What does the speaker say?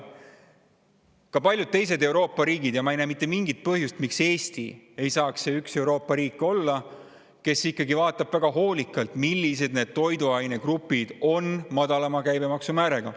Paljud Euroopa riigid ja ma ei näe mitte mingit põhjust, miks Eesti ei saaks olla see Euroopa riik, kes ikkagi kaalub väga hoolikalt, millised toiduainegrupid võiksid olla madalama käibemaksumääraga.